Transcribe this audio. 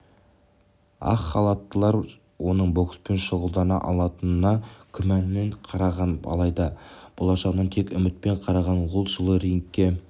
ақ халаттылар оның бокспен шұғылдана алатынына күмәнмен қараған алайда болашағына тек үмітпен қараған ол жылы рингке